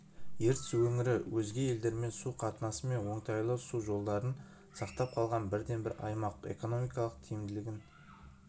ертіс өңірі өзге елдермен су қатынасы мен оңтайлы су жолдарын сақтап қалған бірден-бір аймақ экономикалық тиімділігін